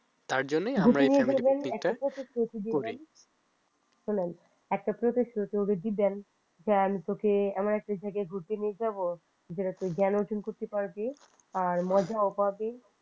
তার জন্যই আমরা এই family picnic টা করি শোনেন আপনি ওকে যদি প্রতিশ্রুতি দেন যে আমি তোকে এমন একটা জায়গায় ঘুরতে নিয়ে যাব যেটা তুই জ্ঞান অর্জন করতে পারবি আর মজাও পাবি